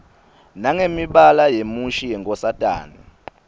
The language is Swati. nangemibala yemushi yenkosatane